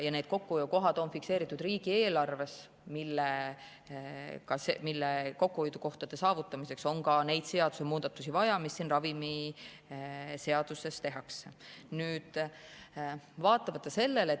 Need kokkuhoiukohad on fikseeritud riigieelarves ja nende saavutamiseks on ka neid seadusemuudatusi vaja, mis siin ravimiseaduses tehakse.